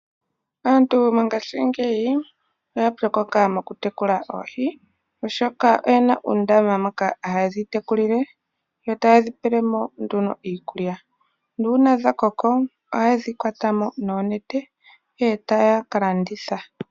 Aantu mongashingeyi oya pyokoka mokutekula oohi, oshoka oyena uundama moka haye dhitekulile, yo taye dhipele mo nduno iikulya. Nuuna dhakoko ohaye dhi kwata mo noonenete ihe etaya kalanditha.